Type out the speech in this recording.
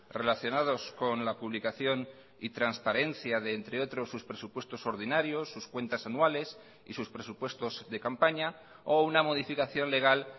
relacionados con la publicación y transparencia de entre otros sus presupuestos ordinarios sus cuentas anuales y sus presupuestos de campaña o una modificación legal